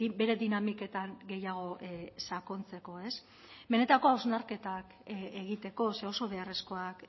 bere dinamiketan gehiago sakontzeko benetako hausnarketak egiteko ze oso beharrezkoak